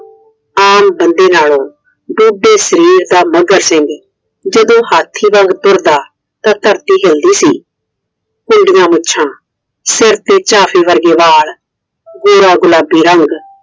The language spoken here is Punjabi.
ਆਮ ਬੰਦੇ ਨਾਲ਼ੋਂ ਢੂਢੇ ਸਰੀਰ ਦਾ ਮੱਘਰ ਸਿੰਘ ਜਦੋ ਹਾਥੀ ਵਾਂਗ ਤੁਰਦਾ ਤਾਂ ਧਰਤੀ ਹਿਲਦੀ ਸੀ। ਕੁੰਡੀਆਂ ਮੁੱਛਾਂ, ਸਿਰ ਤੇ ਵਾਲ ਗੋਰਾ ਗੁਲਾਬੀ ਰੰਗ